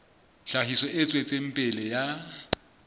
tlhahiso e tswetseng pele ya